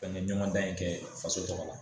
Bɛɛ bɛ ɲɔgɔn dan in kɛ faso tɔgɔ la